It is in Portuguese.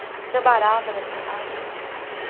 Tinha barata nessa casa.